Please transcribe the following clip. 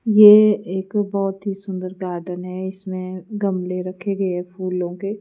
ये एक बहोत ही सुंदर गार्डन है इसमें गमले रखे गए फूलों के।